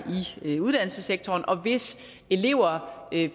i uddannelsessektoren og hvis elever